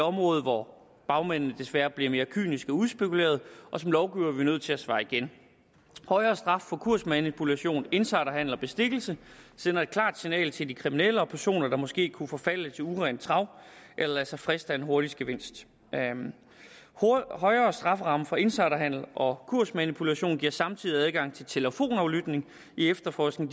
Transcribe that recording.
område hvor bagmændene desværre bliver mere kyniske og udspekulerede og som lovgivere er vi nødt til at svare igen højere straf for kursmanipulation insiderhandel og bestikkelse sender et klart signal til de kriminelle og personer der måske kunne forfalde til urent trav eller lade sig friste af en hurtig gevinst højere strafferamme for insiderhandel og kursmanipulation giver samtidig adgang til telefonaflytning i efterforskning